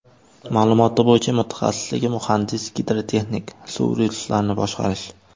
Ma’lumoti bo‘yicha mutaxassisligi muhandis-gidrotexnik, suv resurslarini boshqarish.